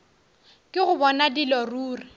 ke go bona dilo ruri